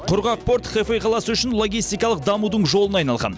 құрғақ порт хэфэй қаласы үшін логистикалық дамудың жолына айналған